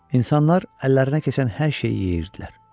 İnsanlar əllərinə keçən hər şeyi yeyirdilər.